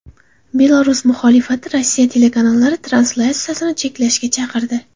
Belarus muxolifati Rossiya telekanallari translyatsiyasini cheklashga chaqirdi.